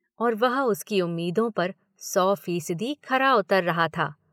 और वह उसकी उम्मीदों पर सौ फ़ीसदी खरा उतर रहा था।